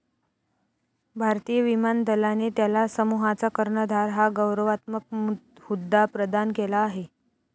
भारतीय विमान दलाने त्याला समूहाचा कर्णधार हा गौरवात्मक हुद्दा प्रदान केला आहे.